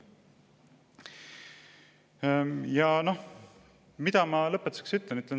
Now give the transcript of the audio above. Ja mida ma lõpetuseks ütlen?